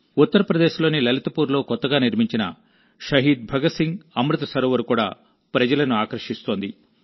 ఉత్తరప్రదేశ్లోని లలిత్పూర్లో కొత్తగా నిర్మించిన షహీద్ భగత్ సింగ్ అమృత్ సరోవర్ కూడా ప్రజలను ఆకర్షిస్తోంది